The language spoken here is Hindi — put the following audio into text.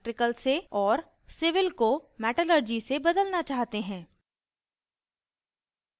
और civil को metallurgy से बदलना चाहते हैं